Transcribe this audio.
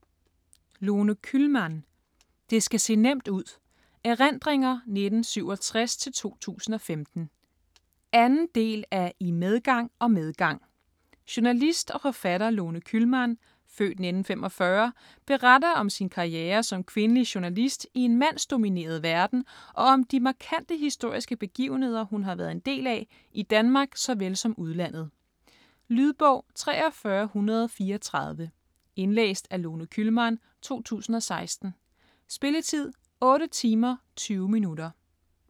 Kühlmann, Lone: Det skal se nemt ud: erindringer 1967-2015 2. del af I medgang og medgang. Journalist og forfatter Lone Kühlmann (f. 1945) beretter om sin karriere som kvindelig journalist i en mandsdomineret verden og om de markante historiske begivenheder hun har været en del af, i Danmark såvel som udlandet. Lydbog 43134 Indlæst af Lone Kühlmann, 2016. Spilletid: 8 timer, 20 minutter.